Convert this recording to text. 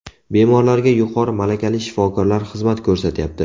Bemorlarga yuqori malakali shifokorlar xizmat ko‘rsatyapti.